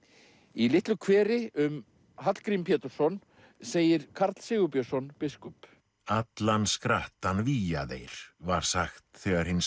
í litlu kveri um Hallgrím segir Karl Sigurbjörnsson biskup allan skrattann vígja þeir var sagt þegar hinn